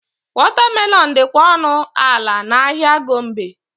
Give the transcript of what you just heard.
Watermelon dịkwa ọnụ ala n'ahịa Gombe.